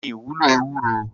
Kini iwúló éwúró?